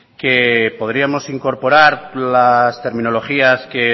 que podríamos incorporar las terminologías que